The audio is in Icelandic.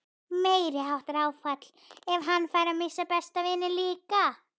Meiriháttar áfall ef hann færi að missa besta vininn líka.